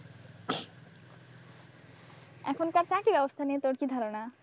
এখনকার চাকরি ব্যবস্থা নিয়ে তোর কি ধারণা?